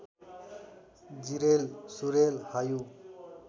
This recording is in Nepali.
जिरेल सुरेल हायु